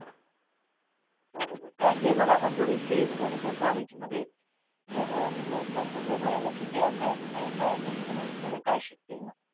बरोबर कारण की हे बघ आपण एवढे fees भरतो कॉलेजमध्ये तर हे जर तसंच राहिलं की काही अभ्यास नाही काय नाही मग पोरं काय शिकतील मग